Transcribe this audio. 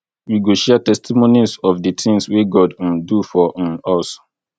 we go share testimonies of di tins wey god um do for um us